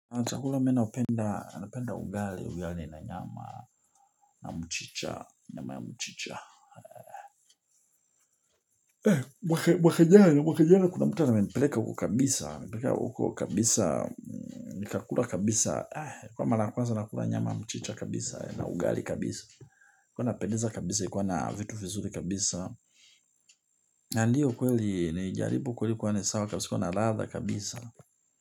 Chakula ninayoipenda ugali, ugali na nyama na mchicha, nyama ya mchicha. Mwaka jana, mwaka jana kuna mtu amenipeleka huko kabisa, amenipeleka huko kabisa, nikakula kabisa, ilikuwa mara ya kwanza nakula nyama ya mchicha kabisa, na ugali kabisa. Ilikuwa inapendeza kabisa, ilikuwa na vitu vizuri kabisa. Ndiyo kweli, nilijaribu, kweli ilikuwa sawa kabisa, ilikuwa na ladha kabisa.